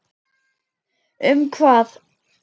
Um hvað?